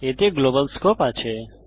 এতে global scope আছে